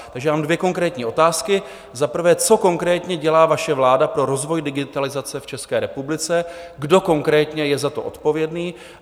Takže já mám dvě konkrétní otázky: za prvé, co konkrétně dělá vaše vláda pro rozvoj digitalizace v České republice, kdo konkrétně je za to odpovědný?